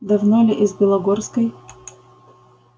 давно ли из белогорской